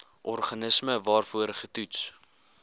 organisme waarvoor getoets